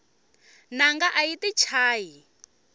nanga ayi yti chayi